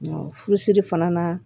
Furusiri fana na